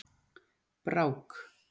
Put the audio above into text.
Brák